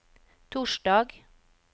torsdag